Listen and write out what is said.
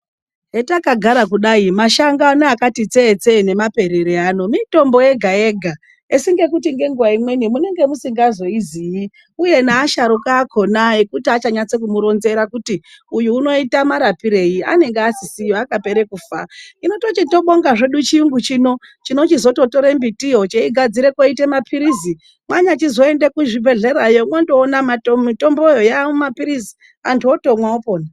Etakagara kudai mashango ano akati tse tse nemaperero ano mitombo yega yega. Asi ngekuti amweni munenge musingazoizii uye nevasharukwa akona ekuti achanyatsomuronzera kuti uyu unoita marapirei anenge asisiyo akapera kufa. Hino tochitobonga chirungu chino, chinochuzotora mbiti iyi, cheigadzira koite mapirizi anyachizoenda muzvibhedhlera, wochindoona kuti mitombo iyo ava mapirizi vantu vochitomwa vopona.